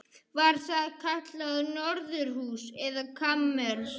Var það kallað norðurhús eða kamers